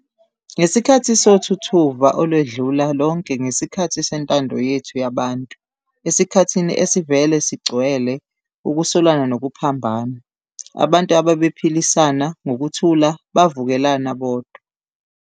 Ngesikhathi sothuthuva olwedlula lonke ngesikhathi sentando yethu yabantu, esikhathini esivele sigcwele ukusolana nokuphambana, abantu abebephilisana ngokuthula bavukelana bodwa.